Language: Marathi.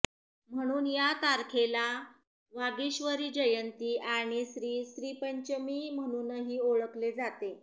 म्हणून या तारखेला वागीश्वरीजयंती आणि श्री श्रीपंचमी म्हणूनही ओळखले जाते